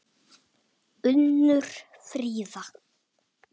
Unnur Fríða.